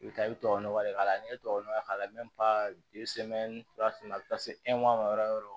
I bɛ taa i bɛ tubabunɔgɔ de k'a la n'i ye tubabu nɔgɔ k'a la a bɛ taa se ma yɔrɔ yɔrɔ